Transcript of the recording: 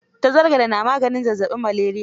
Tazargade ne maganin zazzaɓin maleriya.